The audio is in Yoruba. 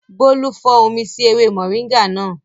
Bólú fọ́n omi sí ewé mọ̀ríńgà náà